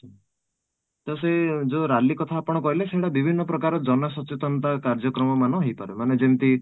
ତ ସେ ଯୋଉ rally କଥା ଆପଣ କହିଲେ ସେମାନେ ବିଭିନ୍ନ ପ୍ରକାର ଜନସଚେତନତା କାର୍ଯ୍ୟକ୍ରମ ମାନ ହେଇପାରେ ମାନେ ଯେମିତି